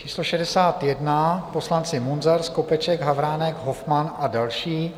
Číslo 61 - poslanci Munzar, Skopeček, Havránek, Hofmann a další.